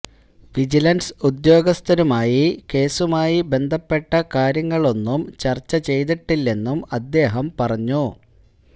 vigilance ഉദ്യോഗസ്ഥരുമായി കേസുമായി ബന്ധപ്പെട്ട കാര്യങ്ങളൊന്നും ചര്ച്ച ചെയ്തിട്ടില്ലെന്നും അദ്ദേഹം പറഞ്ഞു